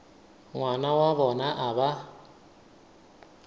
ngwana wa bona a ba